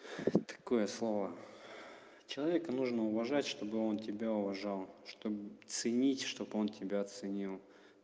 такое слово человека нужно уважать чтобы он тебя уважал чтоб ценить чтобы он тебя ценил